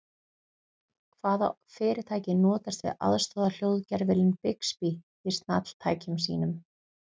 Hvaða fyrirtæki notast við aðstoðarhljóðgervilinn Bixby í snjalltækjum sínum?